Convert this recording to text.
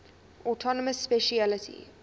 autonomous specialty